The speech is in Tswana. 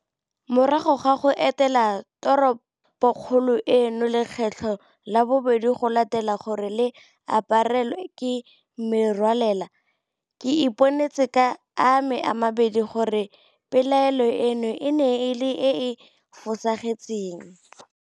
Morago ga go etela toropokgolo eno lekgetlo la bobedi go latela gore le aparelwe ke merwalela, ke iponetse ka ame a mabedi gore pelaelo eno e ne e le e e fosagetseng.